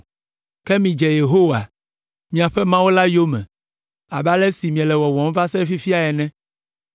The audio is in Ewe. Ke midze Yehowa, miaƒe Mawu la yome abe ale si miele wɔwɔm va se ɖe fifia ene.